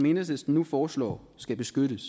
enhedslisten nu foreslår skal beskyttes